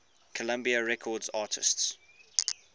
columbia records artists